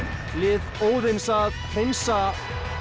lið Óðins að hreinsa